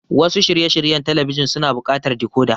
Wasu shirye shiryen talabijin suna buƙatar decoder.